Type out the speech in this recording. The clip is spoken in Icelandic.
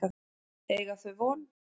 Eiga þau von?